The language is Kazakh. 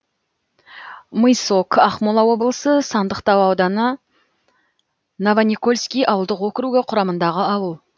мысок ақмола облысы сандықтау ауданы новоникольский ауылдық округі құрамындағы ауыл